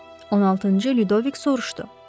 16-cı Ludovik soruşdu.